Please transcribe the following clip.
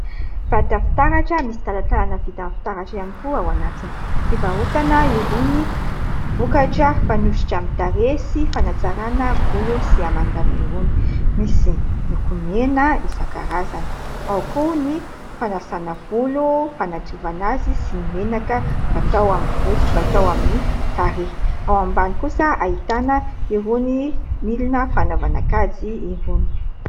Vata fitaratra misy talantalana vita amin'ny fitaratra ihany koa ao anatiny. Fivarotana irony vokatra fanosotra amin'ny tarehy, sy fanatsarana volo sy hamanjana irony ; misy lokomena isankarazany ; ao koa ny fanasana volo, fanadiovana azy, sy ny menaka fatao amin'ny volo sy fatao amin'ny tarehy. Ao ambany kosa ahitana irony milina fanaovana kajy irony.